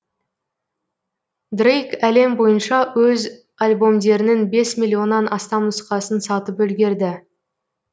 дрейк әлем бойынша өз альбомдерінің бес миллионнан астам нұсқасын сатып үлгерді